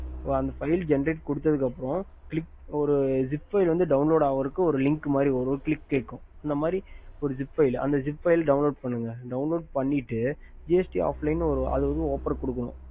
Senright குடுத்துக்கு அப்புறம் seap file download link வரும் click கேக்கும் file download பண்ணிட்டு